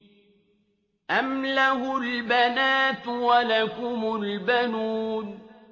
أَمْ لَهُ الْبَنَاتُ وَلَكُمُ الْبَنُونَ